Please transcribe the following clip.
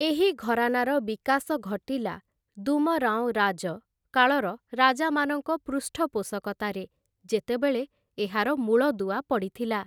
ଏହି ଘରାନାର ବିକାଶ ଘଟିଲା 'ଦୁମରାଓଁ ରାଜ' କାଳର ରାଜାମାନଙ୍କ ପୃଷ୍ଠପୋଷକତାରେ, ଯେତେବେଳେ ଏହାର ମୂଳଦୁଆ ପଡ଼ିଥିଲା ।